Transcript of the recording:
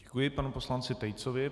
Děkuji panu poslanci Tejcovi.